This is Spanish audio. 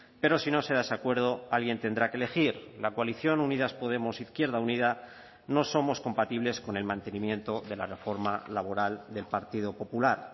pero si no se da ese acuerdo alguien tendrá que elegir la coalición unidas podemos izquierda unida no somos compatibles con el mantenimiento de la reforma laboral del partido popular